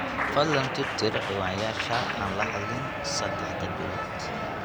fadhlan tirtir ciwaanyasha aan lahadlin sadax bilood